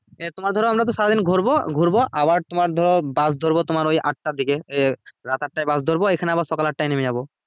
এ তোমার ধরো আমরা তো সারাদিন ঘুরবো ঘুরবো আবার তোমার ধরো bus ধরবো তোমার ওই আটটা দিকে এ রাত আটটায় bus ধরবো এখানে আবার সকাল আটটায় নেবে যাবো